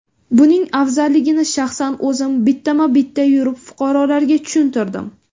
Buning afzalligini shaxsan o‘zim bittama-bitta yurib, fuqarolarga tushuntirdim.